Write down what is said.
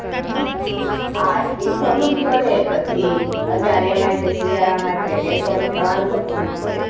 હા એ થોડુક તો રે પછી અત્યારે એમાય શિયાળા માં એટલે રેવાનું તો ખરી જ ને.